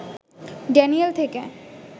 Daniel থেকে